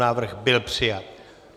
Návrh byl přijat.